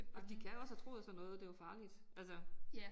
Og de kan jo også have troet sådan noget det var farligt altså